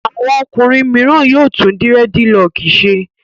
Àwọn ọkùnrin mìíràn yóò tún dírẹ́dilọọkì ṣe.